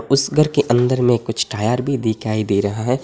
उस घर के अंदर में कुछ टायर भी दिखाई दे रहा है।